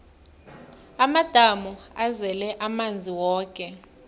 amadamu azele amanzi woke